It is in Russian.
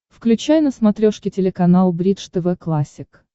включай на смотрешке телеканал бридж тв классик